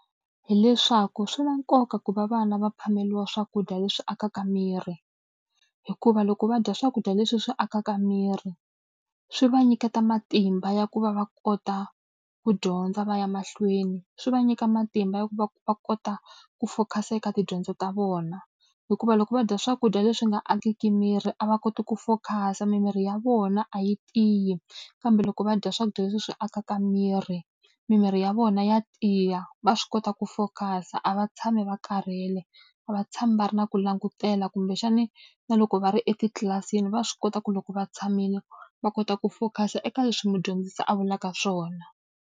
Hi leswaku swi na nkoka ku va vana va phameriwa swakudya leswi akaka miri, hikuva loko va dya swakudya leswi swi akaka miri swi va nyiketa matimba ya ku va va kota ku dyondza va ya mahlweni. Swi va nyika matimba ya va va kota ku focus-a eka tidyondzo ta vona. Hikuva loko va dya swakudya leswi nga akeki miri a va koti ku focus-a, mimiri ya vona a yi tiyi. Kambe loko va dya swakudya leswi swi akaka miri mimiri ya vona ya tiya, va swi kota ku focus-a, a va tshami va karhele, a va tshami va ri na ku langutela. Kumbexani na loko va ri etitlilasini va swi kota ku loko va tshamile, va kota ku focus-a eka leswi mudyondzisi a vulaka swona.